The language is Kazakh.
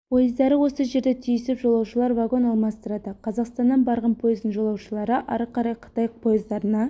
пойыздары осы жерде түйісіп жолаушылар вагон алмастырады қазақстаннан барған пойыздың жолаушылары ары қарай қытай пойыздарына